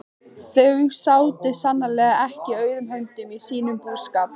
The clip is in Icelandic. Þau sátu sannarlega ekki auðum höndum í sínum búskap.